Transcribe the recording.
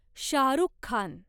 Shahrukh Khan